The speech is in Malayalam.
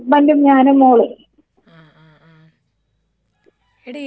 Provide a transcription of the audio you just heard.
ആ ആ ആ എടീ ഈ മ്യൂസിയം ഉണ്ടല്ലോ ഡി.